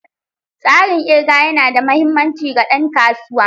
Tsarin ƙirga yana da mahimmanci ga ɗan kasuwa.